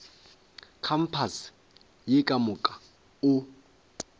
kampase ye ka moka o